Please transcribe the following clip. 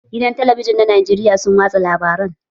Gidan talabijin na Najeriya sun watsa labaran